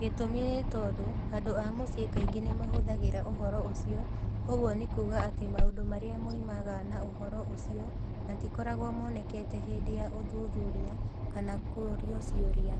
Gĩtũmi nĩ tondũ andũ a mũciĩ kaingĩ nĩ mahithagĩria ũhoro ũcio, ũguo nĩ kuuga atĩ maũndũ marĩa moimanaga na ũhoro ũcio matikoragwo monekete hĩndĩ ya ũthuthuria kana kũrio ciũria.